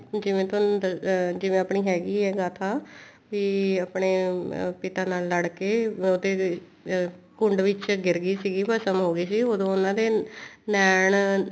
ਜਿਵੇਂ ਤੁਹਾਨੂੰ ਜਿਵੇਂ ਆਪਣੀ ਹੈਗੀ ਹੈ ਗਾਥਾ ਤੇ ਆਪਣੇ ਪਿਤਾ ਨਾਲ ਲੜ ਕੇ ਉਹਦੇ ਤੇ ਅਮ ਕੁੰਡ ਵਿੱਚ ਗਿਰ ਗਈ ਸੀ ਭਸਮ ਹੋਗੀ ਸੀ ਉਦੋਂ ਉਹਨਾ ਦੇ ਨੈਣ